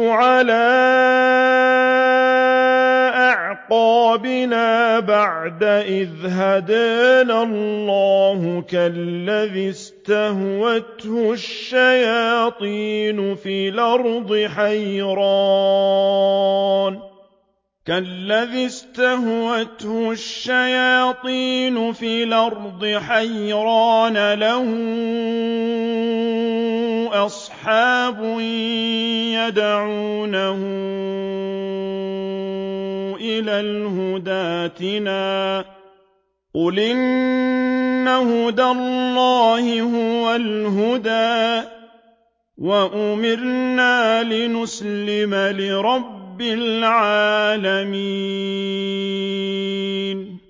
عَلَىٰ أَعْقَابِنَا بَعْدَ إِذْ هَدَانَا اللَّهُ كَالَّذِي اسْتَهْوَتْهُ الشَّيَاطِينُ فِي الْأَرْضِ حَيْرَانَ لَهُ أَصْحَابٌ يَدْعُونَهُ إِلَى الْهُدَى ائْتِنَا ۗ قُلْ إِنَّ هُدَى اللَّهِ هُوَ الْهُدَىٰ ۖ وَأُمِرْنَا لِنُسْلِمَ لِرَبِّ الْعَالَمِينَ